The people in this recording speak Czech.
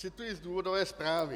Cituji z důvodové zprávy.